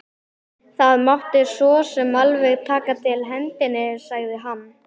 Það mátti sosum alveg taka til hendinni, sagði hann.